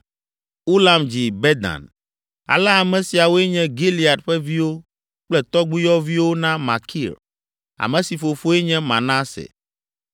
Ulam dzi Bedan. Ale ame siawoe nye Gilead ƒe viwo kple tɔgbuiyɔviwo na Makir, ame si fofoe nye Manase.